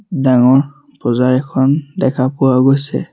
ডাঙৰ পজা এখন দেখা পোৱা গৈছে।